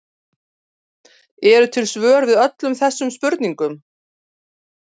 Eru til svör við öllum þessum spurningum?